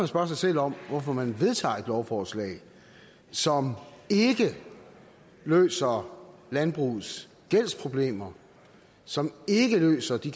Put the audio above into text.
spørge sig selv om hvorfor man vedtager et lovforslag som ikke løser landbrugets gældsproblemer og som ikke løser de